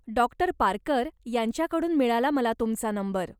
Doctor Parkar यांच्याकडून मिळाला मला तुमचा नंबर.